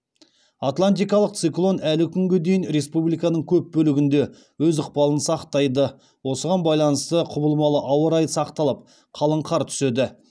атлантикалық циклон әлі күнге дейін республиканың көп бөлігінде өз ықпалын сақтайды осыған байланысты құбылмалы ауа райы сақталып қалың қар түседі